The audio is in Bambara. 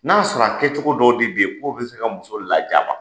N'a sɔrɔ a kɛcogo dɔw de bɛ yen k'o bɛ se ka muso lajaba,